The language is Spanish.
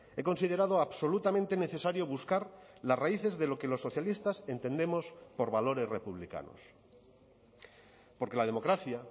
he considerado absolutamente necesario buscar las raíces de lo que los socialistas entendemos por valores republicanos porque la democracia